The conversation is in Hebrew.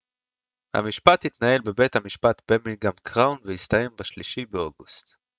המשפט התנהל בבית המשפט בירמינגהאם קראון והסתיים ב-3 באוגוסט